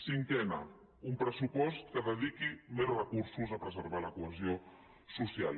cinquena un pressupost que dediqui més recursos a preservar la cohesió social